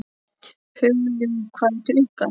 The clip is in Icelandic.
Hugljúf, hvað er klukkan?